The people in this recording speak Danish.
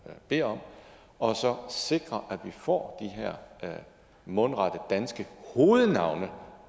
beder om og så sikre at vi får de her mundrette danske hovednavne